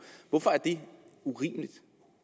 hvorfor er det urimeligt